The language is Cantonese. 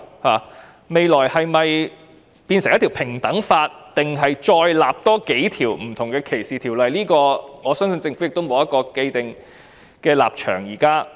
政府日後是否訂立平等法，還是另訂數項歧視條例，我相信政府現時沒有一個既定的立場。